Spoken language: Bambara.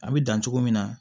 A bɛ dan cogo min na